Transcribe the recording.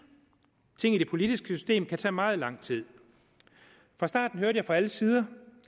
ting i det politiske system kan tage meget lang tid fra starten hørte jeg fra alle sider